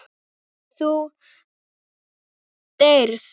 Þú deyrð.